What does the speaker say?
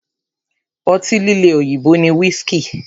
Ọtí líle òyìnbó ni whiski.